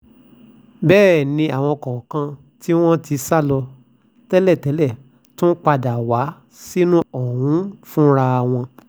bẹ́ẹ̀ làwọn kọ̀ọ̀kan tí wọ́n ti sá lọ tẹ́lẹ̀ tún padà wá sínú ọgbà ọ̀hún fúnra wọn